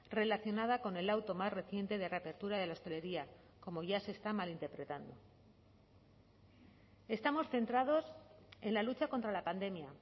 relacionada con el auto más reciente de reapertura de la hostelería como ya se está malinterpretando estamos centrados en la lucha contra la pandemia